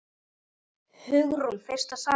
Hugrún: Fyrsta salan?